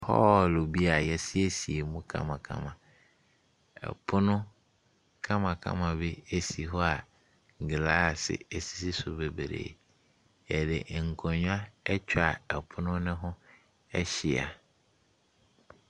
Hall bi a yɛasiesie mu kamakama, pono kamakama bi ɛsi hɔ glaase ɛsisi so bebree. Yɛde nkonnwa atwa pono ne ho ahyia.